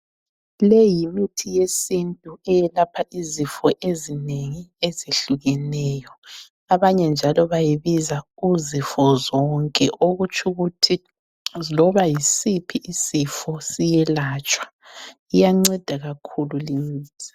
Leyi yimithi yesintu eyelapha izifo ezinengi ezihlukeneyo abanye njalo bayibiza uzifo zonke okutshukuthi loba yisiphi isifo siyelatshwa iyanceda kakhulu limithi.